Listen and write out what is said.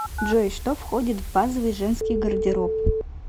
джой что входит в базовый женский гардероб